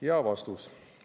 Ja vastus.